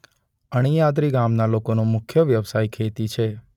અણીયાદરી ગામના લોકોનો મુખ્ય વ્યવસાય ખેતી છે.